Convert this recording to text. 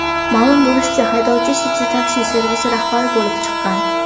Ma’lum bo‘lishicha, haydovchi City Taxi servisi rahbari bo‘lib chiqqan.